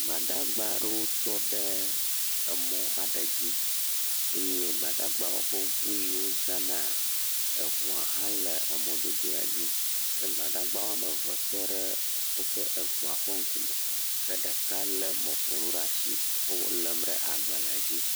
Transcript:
Gbadagba aɖewo tɔ ɖe emɔ aɖe dzi eye gbadagbawo ƒe ŋu yio wozãna, eŋua hã le mɔdodoea dzi, ke gbadagba woame eve tɔ ɖe woƒe eŋua ƒe ŋku me, ke ɖeka lé mɔƒonu ɖe atsi wo wolém ɖe agbalẽa dzi.